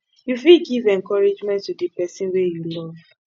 you fit give encouragement to di person wey you love